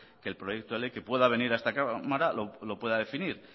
que el proyecto de ley que pueda venir a esta cámara lo pueda definir